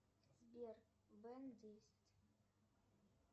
сбер бен десять